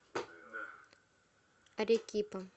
арекипа